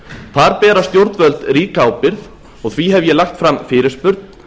þar bera stjórnvöld ríka ábyrgð og því hef ég lagt fram fyrirspurn